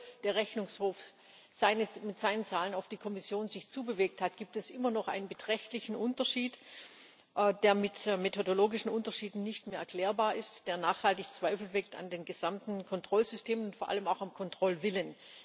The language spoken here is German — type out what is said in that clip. Obwohl sich der Rechnungshof mit seinen Zahlen auf die Kommission zubewegt hat, gibt es immer noch einen beträchtlichen Unterschied, der mit methodologischen Unterschieden nicht mehr erklärbar ist, der nachhaltig Zweifel weckt an dem gesamten Kontrollsystem und vor allem auch am Kontrollwillen.